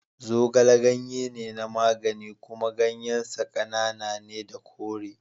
Zogale ganye ne na magani kuma ganyen sa ƙanana ne da kore.